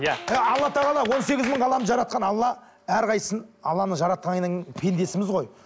иә алла тағала он сегіз мың ғаламды жаратқан алла әрқайсысын алланың жаратқаннан кейін пендесіміз ғой